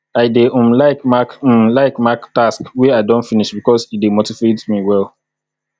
i dey um like mark um like mark task wey i don finish bikos e dey motivate me well